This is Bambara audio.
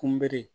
Kunbɛ